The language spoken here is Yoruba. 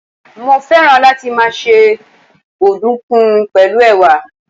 Mo féràn láti máa se ọ̀dùnkún pẹ̀lú Ẹ̀wà.